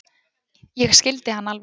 Ég skildi hann alveg.